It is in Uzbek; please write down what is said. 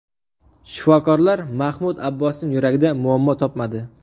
Shifokorlar Mahmud Abbosning yuragida muammo topmadi.